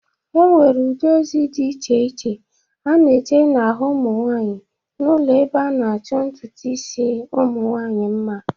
E nwere ụdị ozi dị iche iche a na-eje n'ahụ ụmụnwanyị n'ụlọ ebe a na-achọ ntụtụ isi ụmụnwaanyị mma.